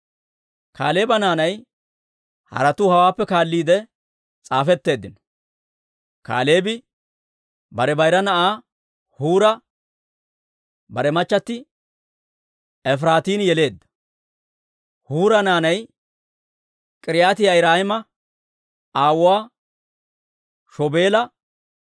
Kaaleeba naanay haratuu hawaappe kaalliide s'aafetteeddino. Kaaleebi bare bayra na'aa Huura bare machchatti Efiraatin yeleedda. Huura naanay K'iriyaati-Yi'aariima aawuwaa Shobaala,